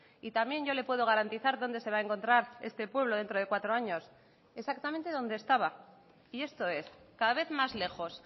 y también yo le puedo garantizar dónde se va a encontrar este pueblo dentro de cuatro años exactamente donde estaba y esto es cada vez más lejos